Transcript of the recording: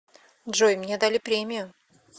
джой мне дали премию